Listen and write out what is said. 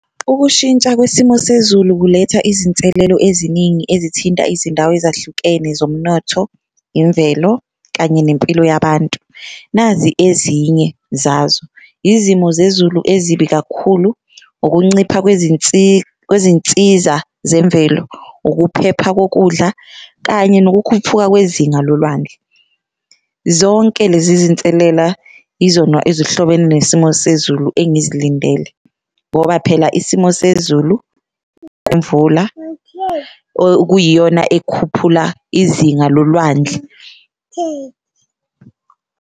Ukushintsha kwesimo sezulu kuletha izinselelo eziningi ezithinta izindawo ezahlukene zomnotho, imvelo kanye nempilo yabantu. Nazi ezinye zazo izimo zezulu ezibi kakhulu, ukuncipha kwezinsiza zemvelo, ukuphepha kokudla kanye nokukhuphuka kwezinga lolwandle. Zonke lezi zinselela izona ezihlobene nesimo sezulu engizilindele ngoba phela isimo sezulu imvula okuyiyona ekhuphula izinga lolwandle .